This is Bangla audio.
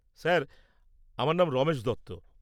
স্যার, আমার নাম রমেশ দত্ত।